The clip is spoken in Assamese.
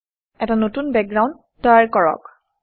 এটা নতুন বেকগ্ৰাউণ্ড তৈয়াৰ কৰক